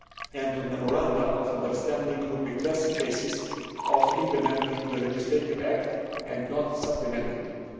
and on memoranda of understanding would be classic cases of implementing the legislative act, not supplementing it.